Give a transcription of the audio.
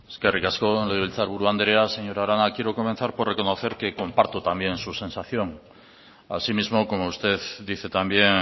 eskerrik asko legebiltzar buru andrea señora arana quiero comenzar por reconocer que comparto también su sensación asimismo como usted dice también